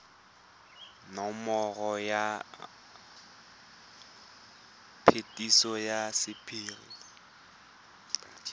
nomoro ya phetiso ya sephiri